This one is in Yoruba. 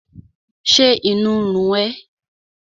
Ṣé inú ń run ẹ́?